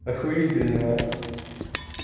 охуительно а